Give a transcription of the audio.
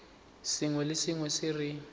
sengwe le sengwe se re